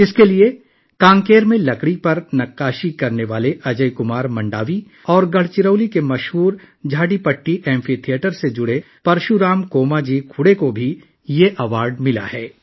اس کے لیے کانکیر میں لکڑی کی نقاشی کرنے والے اجے کمار منڈاوی اور گڈچرولی کی مشہور جھاڑی پٹی رنگ بھومی سے وابستہ پرشورام کوماجی کھنے کو بھی یہ اعزاز حاصل ہوا ہے